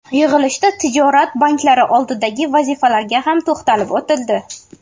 Yig‘ilishda tijorat banklari oldidagi vazifalarga ham to‘xtalib o‘tildi.